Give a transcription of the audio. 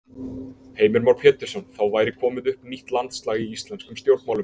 Heimir Már Pétursson: Þá væri komið upp nýtt landslag í íslenskum stjórnmálum?